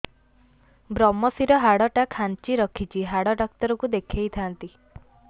ଵ୍ରମଶିର ହାଡ଼ ଟା ଖାନ୍ଚି ରଖିଛି ହାଡ଼ ଡାକ୍ତର କୁ ଦେଖିଥାନ୍ତି